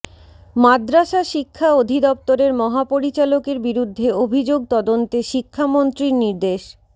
মাদ্রাসা শিক্ষা অধিদপ্তরের মহাপরিচালকের বিরুদ্ধে অভিযোগ তদন্তে শিক্ষামন্ত্রীর নির্দেশ